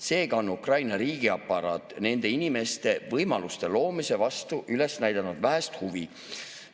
Seega on Ukraina riigiaparaat nendele inimestele võimaluste loomise vastu üles näidanud vähest huvi.